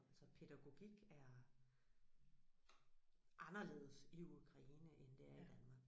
Altså pædagogik er anderledes i Ukraine end det er i Danmark